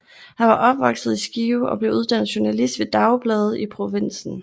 Han var opvokset i Skive og blev uddannet journalist ved dagblade i provinsen